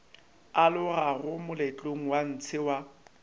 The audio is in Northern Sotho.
alogago moletlong wa ntshe wa